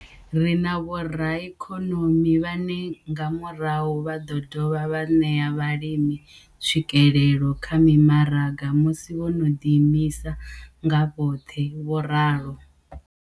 Ri na vhoraikonomi vhane nga murahu vha ḓo dovha vha ṋea vhalimi tswikelelo kha mimaraga musi vho no ḓi imisa nga vhoṱhe, vho ralo.